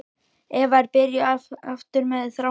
Eva er byrjuð aftur með Þráni.